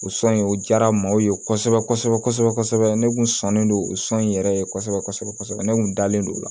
O sɔn in o diyara maaw ye kosɛbɛ kosɛbɛ kosɛbɛ kosɛbɛ ne kun sɔnnen don o sɔn in yɛrɛ ye kosɛbɛ kosɛbɛ ne kun dalen don o la